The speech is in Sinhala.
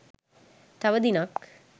තව දිනක්